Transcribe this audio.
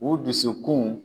U dusukun